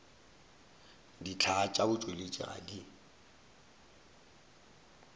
dihlaa tša batšweletši ga di